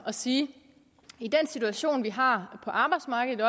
at sige i den situation vi har på arbejdsmarkedet